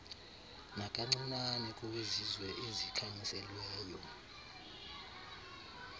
nakancinane kowezizwe ezikhanyiselweyo